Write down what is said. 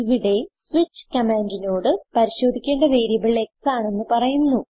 ഇവിടെ സ്വിച്ച് കമാൻഡിനോട് പരിശോധിക്കേണ്ട വേരിയബിൾ x ആണെന്ന് പറയുന്നു